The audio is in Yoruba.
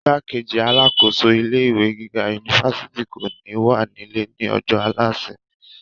igbákejì alákòóso ilé ìwé gíga unifásitì kò ní wà nílé ní ọjọ́ àlàmísì